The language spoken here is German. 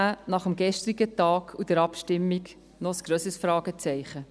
– Das ist nach dem gestrigen Tag und der Abstimmung ein noch grösseres Fragezeichen.